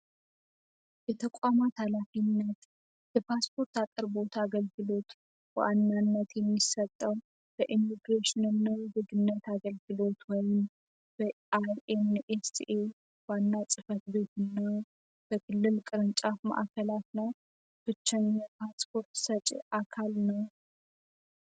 የተቋማት ሃላፊነት በፓስፖርት አቅርቦት አገልግሎት ዋናነት የሚሰጠው በኢሚግሬሽን አገልግሎት ወይም ዋና ጽፈት ቤት እንዲሁም በክልል ቅርንጫፍ ማዕከላት ላይ ብቸኛ አካል ነው።